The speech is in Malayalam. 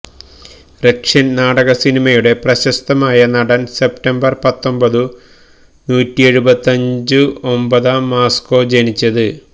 റഷ്യൻ നാടക സിനിമയുടെ പ്രശസ്തമായ നടൻ സെപ്റ്റംബർ പത്തൊമ്പതു നൂറ്റി എഴുപത്തഞ്ചു ഒമ്പതാം മാസ്കോ ജനിച്ചത്